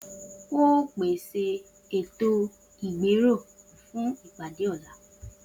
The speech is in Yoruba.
O óò pèsè ètò-ìgbérò fún ìpàdé ò̩la!